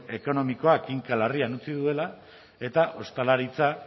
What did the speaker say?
ekonomikoak kinka larrian utzi duela eta ostalaritza